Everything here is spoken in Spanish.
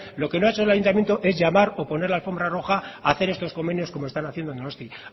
lo que no ha hecho el ayuntamiento es llamar o poner la alfombra roja a hacer estos convenios como están haciendo en donostia